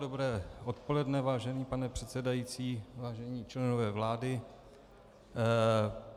Dobré odpoledne, vážený pane předsedající, vážení členové vlády.